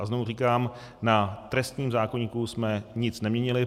A znovu říkám, na trestním zákoníku jsme nic neměnili.